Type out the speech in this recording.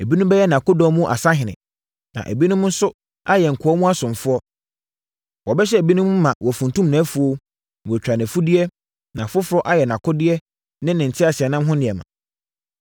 Ebinom bɛyɛ nʼakodɔm mu asahene, na ebinom nso ayɛ nkoa mu asomfoɔ. Wɔbɛhyɛ ebinom ma wɔafuntum nʼafuo, na wɔatwa nʼafudeɛ, na afoforɔ ayɛ nʼakodeɛ ne ne teaseɛnam ho nneɛma.